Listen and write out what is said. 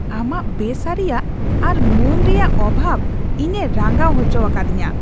ᱟᱢᱟᱜ ᱵᱮ ᱥᱟᱹᱨᱤᱭᱟᱜ ᱟᱨ ᱢᱟᱹᱱ ᱮᱢ ᱨᱮᱭᱟᱜ ᱚᱵᱷᱟᱵ ᱤᱧᱮ ᱨᱟᱸᱜᱟᱣ ᱚᱪᱚᱣᱟᱠᱟᱫᱤᱧᱟ ᱾